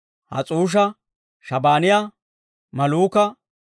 Has's'uusha, Shabaaniyaa, Malluuka,